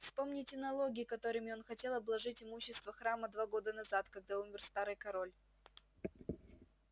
вспомните налоги которыми он хотел обложить имущество храма два года назад когда умер старый король